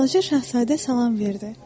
Balaca Şahzadə salam verdi.